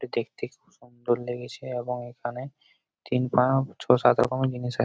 দেখতে খুব সুন্দর লেগেছে এবং এখানে ছয় সাত রকমের জিনিস আছে ।